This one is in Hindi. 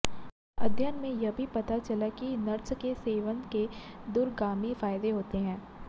अध्ययन में यह भी पता चला कि नट्स के सेवन के दूरगामी फायदे होते हैं